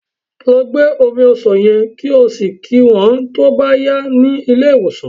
Lọ gbé omi ọsàn yen, kí o sì kí wón tó bá yá ní ilé ìwòsàn.